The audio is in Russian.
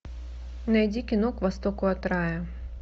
найди кино к востоку от рая